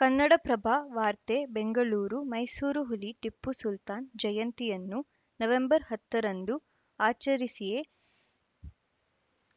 ಕನ್ನಡಪ್ರಭ ವಾರ್ತೆ ಬೆಂಗಳೂರು ಮೈಸೂರು ಹುಲಿ ಟಿಪ್ಪು ಸುಲ್ತಾನ್‌ ಜಯಂತಿಯನ್ನು ನವೆಂಬರ್‌ ಹತ್ತ ರಂದು ಆಚರಿಸಿಯೇ